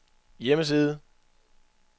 hjemmeside